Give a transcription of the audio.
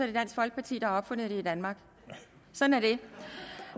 det dansk folkeparti der har opfundet det i danmark sådan